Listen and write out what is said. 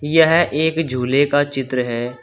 यह एक झूले का चित्र है।